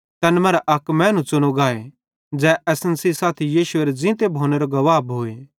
तैन मरां अक मैनू च़ुनो गाए ज़ै असन सेइं साथी यीशुएरे ज़ींते भोनेरो गवाह भोए